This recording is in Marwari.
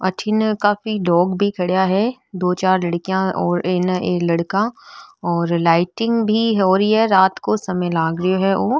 अठे ने काफी लोग भी खड़ा है दो चार लड़कियां और इने ये लड़का और लाइटिंग भी हो रही है रात को समय लागरो है यो।